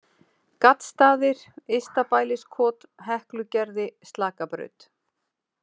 Gaddstaðir, Yztabæliskot, Heklugerði, Slakabraut